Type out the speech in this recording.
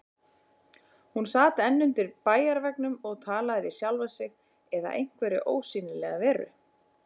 Hún sat enn undir bæjarveggnum og talaði við sjálfa sig eða einhverja ósýnilega veru.